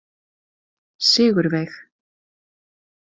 Sigurveig